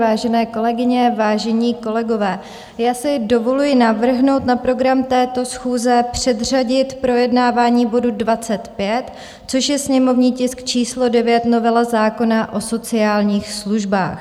Vážené kolegyně, vážení kolegové, já si dovoluji navrhnout na program této schůze předřadit projednávání bodu 25, což je sněmovní tisk číslo 9, novela zákona o sociálních službách.